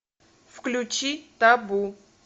включи табу